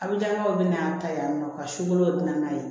A bɛ janɲa kɛ o bɛ na an ta yan nɔ ka si kolo bɛ n'a ye